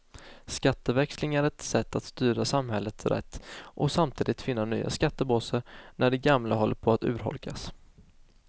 Skatteväxling är ett sätt att styra samhället rätt och samtidigt finna nya skattebaser när de gamla håller på att urholkas.